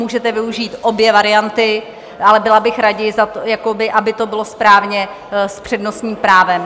Můžete využít obě varianty, ale byla bych raději, aby to bylo správně, s přednostním právem.